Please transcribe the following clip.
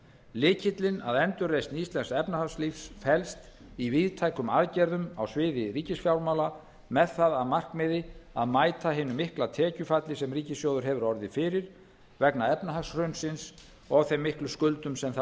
lykillinn að endurreisn íslensks efnahagslífs felst í víðtækum aðgerðum á sviði ríkisfjármála með það að markmiði að mæta hinu mikla tekjufalli sem ríkissjóður hefur orðið fyrir vegna efnahagshrunsins og þeim miklu skuldum sem það